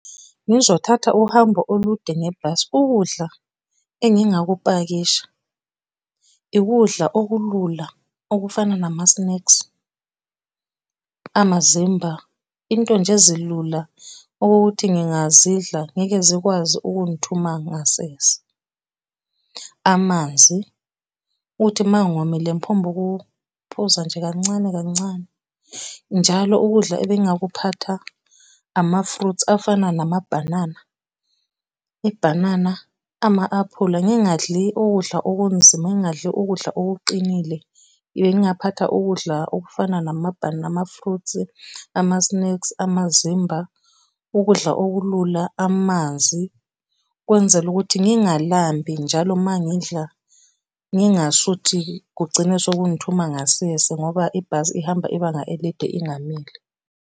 Ngizothatha uhambo olude ngebhasi ukudla engingakupakisha ukudla okulula okufana namasneksi, amazimba, into nje ezilula okokuthi ngingazidla ngeke zikwazi ukungithuma ngasese. Amanzi, ukuthi uma ngomile ukuphuza nje kancane kancane. Njalo ukudla ebengakuphatha ama-fruits afana namabhanana, ibhanana, ama-aphula ngingadli ukudla okunzima ngingadli ukudla okuqinile. Bengingaphatha ukudla okufana , namafruits, amasneksi, amazimba, ukudla okulula, amanzi. Kwenzela ukuthi ngingalambi, njalo uma ngidla, ngingasuthi kugcine sekungithuma ngasese ngoba ibhasi ihamba ibanga elide ingamile.